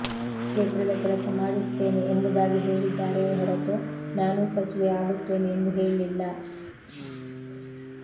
ಕ್ಷೇತ್ರದ ಕೆಲಸ ಮಾಡಿಸುತ್ತೇನೆ ಎಂಬುದಾಗಿ ಹೇಳಿದ್ದಾರೆಯೇ ಹೊರತು ನಾನೂ ಸಚಿವೆ ಆಗುತ್ತೇನೆ ಎಂದು ಹೇಳಿಲ್ಲ